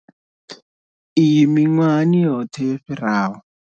Iyi miṅwahani yoṱhe yo fhiraho.